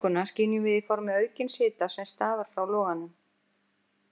Varmaorkuna skynjum við í formi aukins hita sem stafar frá loganum.